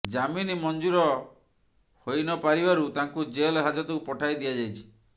ଜାମିନ ମଞ୍ଜୁର ହୋଇନ ପାରିବାରୁ ତାଙ୍କୁ ଜେଲ୍ ହାଜତକୁ ପଠାଇ ଦିଆଯାଇଛି